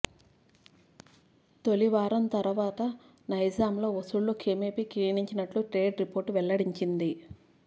తొలివారం తర్వాత నైజాంలో వసూళ్లు క్రమేపి క్షీణించినట్టు ట్రేడ్ రిపోర్ట్ వెల్లడించింది